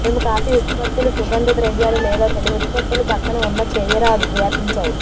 మేము కాఫీ ఉత్పత్తులు సుగంధ ద్రవ్యాలు లేదా తడి ఉత్పత్తులు పక్కన ఉన్న చేయరాదు వ్యాపించాయి